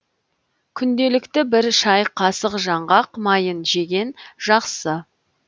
күнделікті бір шай қасық жаңғақ майын жеген жақсы